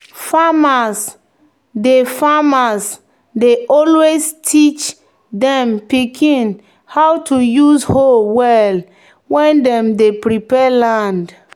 "farmers dey "farmers dey always teach dem pikin how to use hoe well when dem dey prepare land."